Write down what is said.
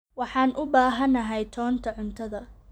Waxaan u baahanahay toonta cuntada.